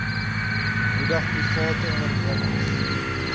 moedig private ondernemings